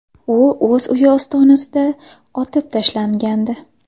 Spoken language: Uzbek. U o‘z uyi ostonasida otib tashlangandi”.